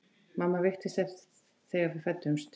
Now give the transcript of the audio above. Mamma veiktist þegar við fæddumst.